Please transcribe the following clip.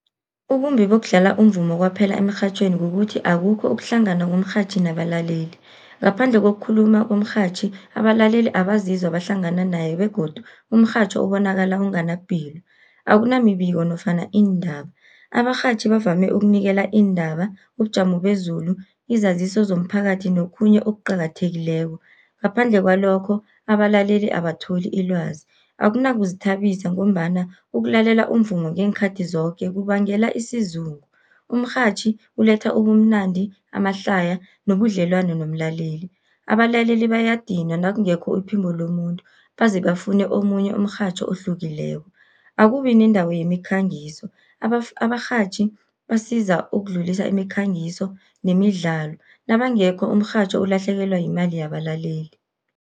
Ubumbi bokudlala umvumo kwaphela emirhatjhweni, kukuthi akukho ukuhlangana komrhatjhi nabalaleli. Ngaphandle kokukhuluma umrhatjhi, abalaleli abazizwa bahlangana nayo begodu umrhatjho ubonakala unganapilo. Akunamibiko nofana iindaba, abarhatjhi bavame ukunikela iindaba, ubujamo bezulu, izaziso zomphakathi nokhunye okuqakathekileko. Ngaphandle kwalokho abalaleli abatholi ilwazi, akunakuzithabisa ngombana ukulalela umvumo ngeenkhathi zoke kubangela isizungu. Umrhatjhi uletha ubumnandi, amahlaya nobudlelwano nomlaleli, abalaleli bayadinwa nakungekho iphimbo lomuntu, baze bafune omunye umrhatjho ohlukileko. Akubi nendawo yemikhangiso, abarhatjhi basiza ukudlulisa imikhangiso nemidlalo, nabangekho umrhatjho ulahlekelwa yimali yabalaleli.